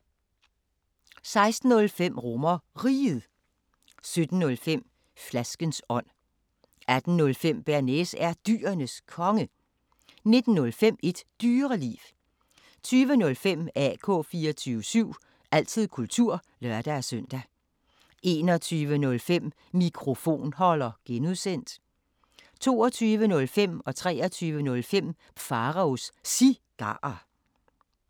16:05: RomerRiget 17:05: Flaskens ånd 18:05: Bearnaise er Dyrenes Konge 19:05: Et Dyreliv 20:05: AK 24syv – altid kultur (lør-søn) 21:05: Mikrofonholder (G) 22:05: Pharaos Cigarer 23:05: Pharaos Cigarer